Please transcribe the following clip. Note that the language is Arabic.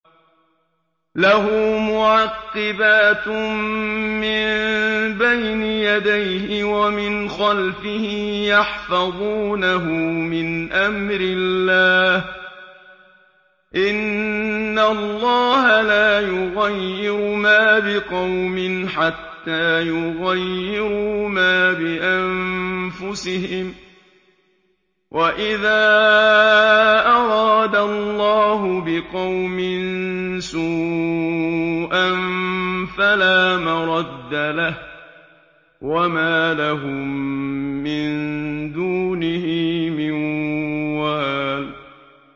لَهُ مُعَقِّبَاتٌ مِّن بَيْنِ يَدَيْهِ وَمِنْ خَلْفِهِ يَحْفَظُونَهُ مِنْ أَمْرِ اللَّهِ ۗ إِنَّ اللَّهَ لَا يُغَيِّرُ مَا بِقَوْمٍ حَتَّىٰ يُغَيِّرُوا مَا بِأَنفُسِهِمْ ۗ وَإِذَا أَرَادَ اللَّهُ بِقَوْمٍ سُوءًا فَلَا مَرَدَّ لَهُ ۚ وَمَا لَهُم مِّن دُونِهِ مِن وَالٍ